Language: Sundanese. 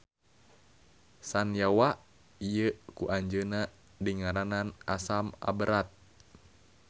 Sanyawa ieu ku anjeunna dingaranan asam aberat.